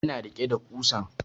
Ya na rike da ƙusan